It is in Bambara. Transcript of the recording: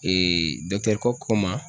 Kok ko ma